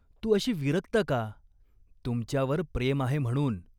तू अशी विरक्त का ?" "तुमच्यावर प्रेम आहे म्हणून.